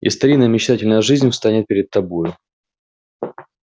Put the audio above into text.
и старинная мечтательная жизнь встанет перед тобою